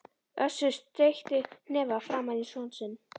Össur steytti hnefa framan í son sinn.